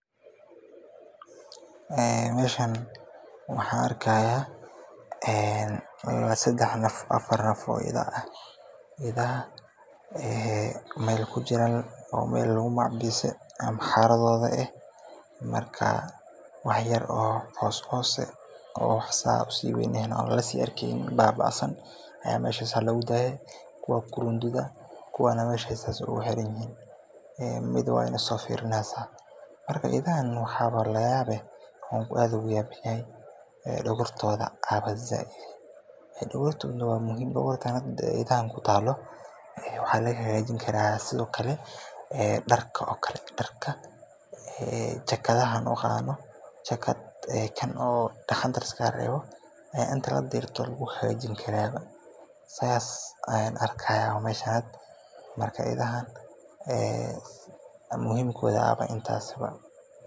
Meeshan waxaan arkaaya sedex naf oo ida ah, oo meel kujira ama xeradooda ah, wax yar oo coos ah, kuwa ku runduda, waay nasoo fiirineysa, dogortooda ayaa sait ah, waxaa laga hagaajin karaa darka, jakadaha aan xirano, marka idaha muhimadooda ayaa intaas ah.